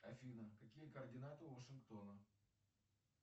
афина какие координаты у вашингтона